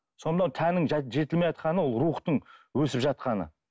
сонда мынау тәнің жетілмей жатқаны ол рухтың өсіп жатқаны